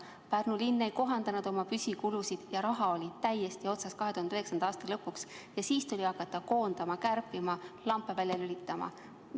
Pärnu linn ei kohandanud siis oma püsikulusid, raha oli 2009. aasta lõpuks täiesti otsas ning siis tuli hakata koondama, kärpima, lampe välja lülitama.